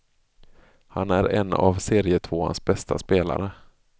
Han är en av serietvåans bästa spelare.